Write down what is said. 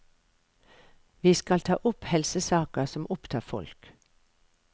Vi skal ta opp helsesaker som opptar folk.